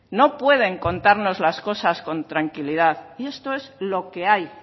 no pueden contarnos las cosas con tranquilidad y esto es lo que hay